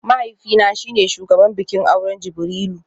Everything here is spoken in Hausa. Mahaifina shi ne shugaban bikin auren Jibrilu